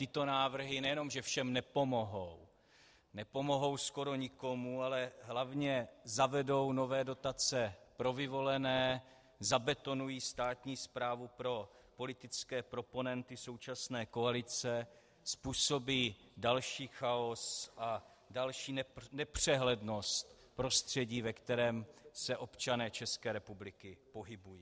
Tyto návrhy nejen že všem nepomohou, nepomohou skoro nikomu, ale hlavně zavedou nové dotace pro vyvolené, zabetonují státní správu pro politické proponenty současné koalice, způsobí další chaos a další nepřehlednost prostředí, ve kterém se občané České republiky pohybují.